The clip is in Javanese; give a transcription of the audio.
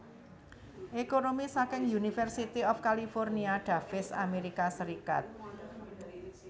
Ekonomi saking University of California Davis Amerika Serikat